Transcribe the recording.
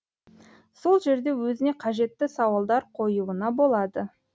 сол жерде өзіне қажетті сауалдар қоюына болады